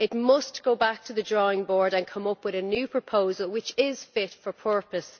It must go back to the drawing board and come up with a new proposal which is fit for purpose.